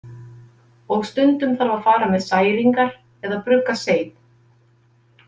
Og stundum þarf að fara með særingar eða brugga seið